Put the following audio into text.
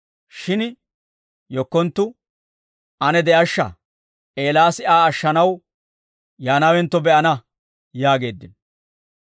Shin yekkonttu, «Ane de'ashsha, Eelaas Aa ashshanaw yaanawentto be'ana» yaageeddino.